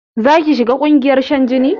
Zaki shiga ƙungiyar shan jini?